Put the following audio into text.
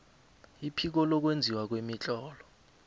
iphiko lokwenziwa kwemitlolo